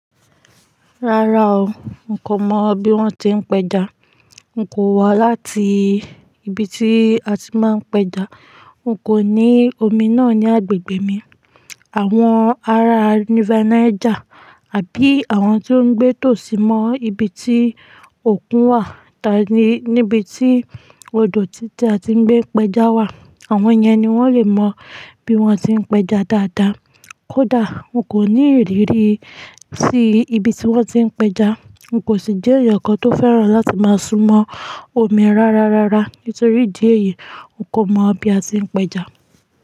Rárá o, n kò mọ bí wón ti ń pẹja. N kò wá láti ibi tí a ti máa ń pẹja. N kò ní omi náà ní agbègbè mi. Àwọn ará River Niger àbí àwọn tí ó ń gbé tòsí mọ ibi tí òkun wà, tàbí níbi tí odò títa tí ń gbé ẹja wà, àwọn yẹn ni wón lè mọ bí wón ti ń pẹja dáadáa. Kódà n kò ní ìrírí sí ibi tí wón ti ń pẹja. N kò sì jẹ́ èèyàn kan tó fẹ́ràn láti máa súnmọ́ omi rárá rárá nítorí di èyí, n kò mọ bí a ti ń pẹja.